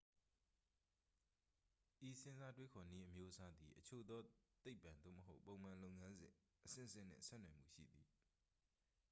ဤစဉ်းစားတွေးခေါ်နည်းအမျိုးအစားသည် အချို့သော သိပ္ပ့ သို့မဟုတ် ပုံမှန်လုပ်ငန်းစဉ်အဆင့်ဆင့်နှင့် ဆက်နွယ်မှုရှိသည်